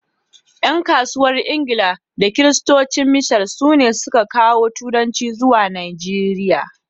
’yan kasuwan Ingila da Kiristocin mishan sune sun ka kawo turanci zuwa Najeriya